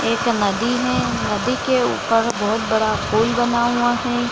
एक नदी है नदी के ऊपर बहुत बड़ा पुल बना हुआ है ।